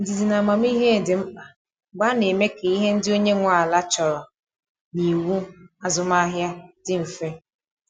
Ndidi na amamihe dị mkpa mgbe a na-eme ka ihe ndị onye nwe ala chọrọ na iwu azụmahịa dị mfe.